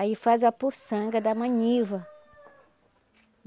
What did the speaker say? Aí faz a puçanga da maniva.